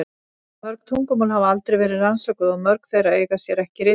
Mörg tungumál hafa aldrei verið rannsökuð og mörg þeirra eiga sér ekki ritmál.